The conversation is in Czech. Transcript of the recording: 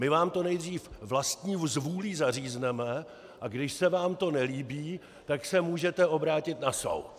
My vám to nejdřív vlastní zvůlí zařízneme, a když se vám to nelíbí, tak se můžete obrátit na soud.